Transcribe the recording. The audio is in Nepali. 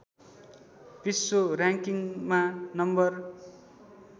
विश्व र‌‌याङ्किङमा नम्बर